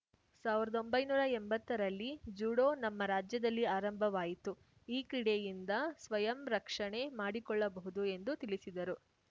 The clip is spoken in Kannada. ಸಾವ್ರ್ದಾ ಒಂಬೈನೂರಾ ಎಂಬತ್ತರಲ್ಲಿ ಜುಡೋ ನಮ್ಮ ರಾಜ್ಯದಲ್ಲಿ ಆರಂಭವಾಯಿತು ಈ ಕ್ರೀಡೆಯಿಂದ ಸ್ವಯಂರಕ್ಷಣೆ ಮಾಡಿಕೊಳ್ಳಬಹುದು ಎಂದು ತಿಳಿಸಿದರು